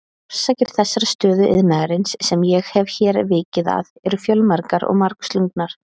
Orsakir þessarar stöðu iðnaðarins, sem ég hef hér vikið að, eru fjölmargar og margslungnar.